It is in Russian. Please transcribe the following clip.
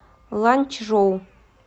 ланьчжоу